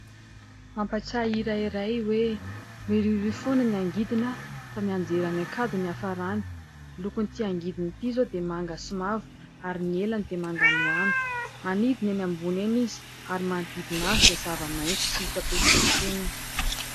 Mampatsiahy hira iray hoe : "Miriorio foana ny angidina, fa mianjera any an-kady no hiafarany." Lokon'ity angidina ity izao dia manga sy mavo ary ny elany dia manganohano, manidina eny ambony eny izy ary ny manodidina azy dia zava-maitso tsy hita pesipesenina.